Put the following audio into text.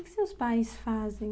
O que seus pais fazem?